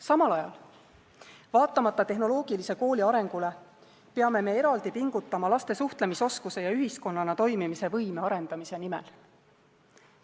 Samal ajal, vaatamata tehnoloogilise kooli arengule, peame eraldi pingutama laste suhtlemisoskuste ja ühiskonnana toimimise võime arendamise nimel.